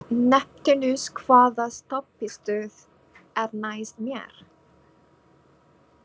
Neptúnus, hvaða stoppistöð er næst mér?